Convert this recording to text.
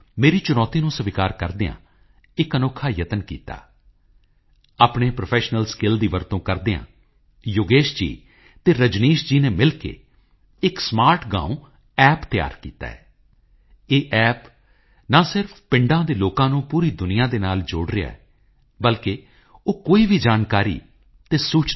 ਮੈਨੂੰ ਦੱਸਿਆ ਗਿਆ ਕਿ ਇਹ ਰੇਡੀਓ ਸਟੇਸ਼ਨ ਹਫ਼ਤਾਵਾਰ ਸਮਾਚਾਰ ਬੁਲੇਟਿਨ ਵੀ ਪ੍ਰਸਾਰਿਤ ਕਰਦਾ ਸੀ ਜੋ ਅੰਗਰੇਜ਼ੀ ਹਿੰਦੀ ਤਮਿਲ ਬਾਂਗਲਾ ਮਰਾਠੀ ਪੰਜਾਬੀ ਪਸ਼ਤੋ ਅਤੇ ਉਰਦੂ ਆਦਿ ਭਾਸ਼ਾਵਾਂ ਵਿੱਚ ਹੁੰਦੇ ਸਨ ਇਸ ਰੇਡੀਓ ਸਟੇਸ਼ਨ ਦੇ ਸੰਚਾਲਨ ਵਿੱਚ ਗੁਜਰਾਤ ਦੇ ਰਹਿਣ ਵਾਲੇ ਐੱਮ